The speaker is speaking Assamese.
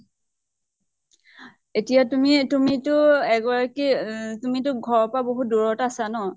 এতিয়া তুমি তুমিটো এগৰাকী ইহ তুমিটো ঘৰৰ পৰা বহুত দূৰত আছা ন